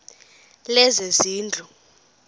lezezindlu